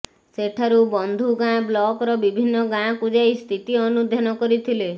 ସେଠାରୁ ବନ୍ଧୁଗାଁ ବ୍ଲକର ବିଭିନ୍ନ ଗାଁକୁ ଯାଇ ସ୍ଥିତି ଅନୁଧ୍ୟାନ କରିଥିଲେ